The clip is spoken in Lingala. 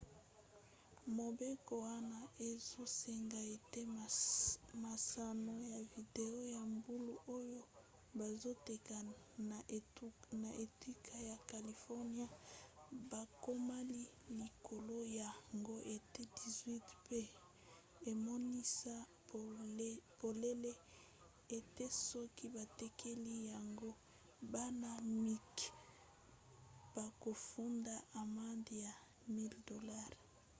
mobeko wana ezosenga ete masano ya video ya mbulu oyo bazoteka na etuka ya californie bakoma likolo ya ngo ete 18 pe emonisa polele ete soki batekeli yango bana-mike bakofunda amande ya 1000$